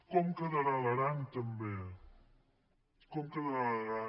com quedarà l’aran també com quedarà l’aran